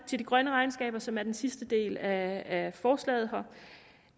de grønne regnskaber som er den sidste del af forslaget